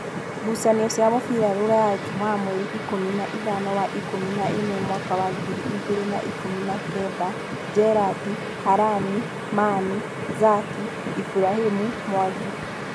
Ngucanio cia mũbira Ruraya Jumaa mweri ikũmi naithano wa ikũmi naĩmwe mwaka wa ngiri igĩrĩ na ikũmi na kenda: Njerandi, Halani, Manu, Zaki, Iburahĩmi, Mwangi